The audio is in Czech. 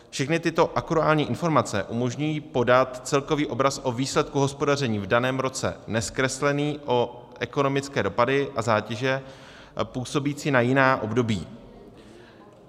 Všechny tyto akruální informace umožňují podat celkový obraz o výsledku hospodaření v daném roce nezkreslený o ekonomické dopady a zátěže působící na jiná období.